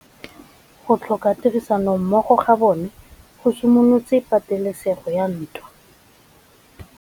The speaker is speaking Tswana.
Go tlhoka tirsanommogo ga bone go simolotse patêlêsêgô ya ntwa.